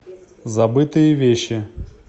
забытые вещи